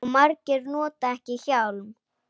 Og margir nota ekki hjálm.